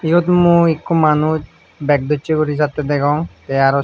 iyot mui ekko manuj beg dosse guri jatte degong te araw.